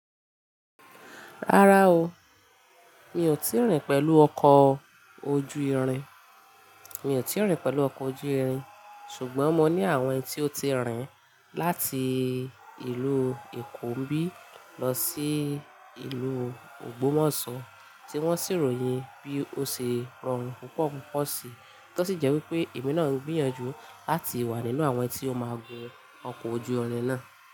Rárá o, mi ò tíì rìn pẹ̀lú ọkọ̀ ojú irin, mi ò tíì rìn pẹ̀lú ọkọ̀ ojú irin, ṣùgbọ́n mo ní àwọn tí ó ti rìn láti ìlú Èkó nbí lọ sí ìlú Ogbomoso tí wọ́n sì ròyìn bí ó ṣe rọrùn púpọ̀ púpọ̀ sí. Tọ́ sì jẹ́ wípé èmi náà ń gbìyànjú láti wà nínú àwọn tí ó máa gun ọkọ̀ ojú irin náà.